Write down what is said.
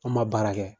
An ma baara kɛ